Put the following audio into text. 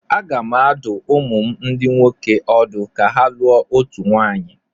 Aga m adụ ụmụ m ndị nwoke ọdụ ka ha lụọ otu nwaanyị.